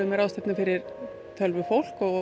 ráðstefna fyrir tölvufólk á